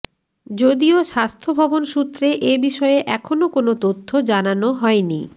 যদিও স্বাস্থ্যভবন সূত্রে এবিষয়ে এখনও কোনও তথ্য জানানো হয়নি